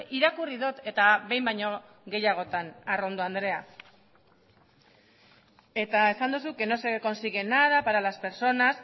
irakurri dut eta behin baino gehiagotan arrondo andrea eta esan duzu que no se consigue nada para las personas